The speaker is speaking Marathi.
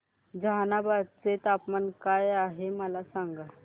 जहानाबाद चे तापमान काय आहे मला सांगा